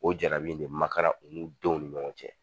O jarabi in de makaran olu denw ni ɲɔgɔn cɛ.